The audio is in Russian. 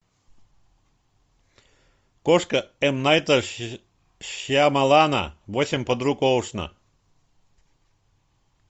кошка м найта шьямалана восемь подруг оушена